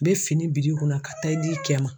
bɛ fini biri i kunna ka taa i di i cɛ ma.